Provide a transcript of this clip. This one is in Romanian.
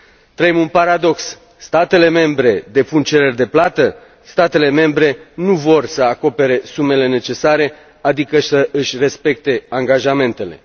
Trăim un paradox statele membre depun cereri de plată, statele membre nu vor să acopere sumele necesare, adică să își respecte angajamentele.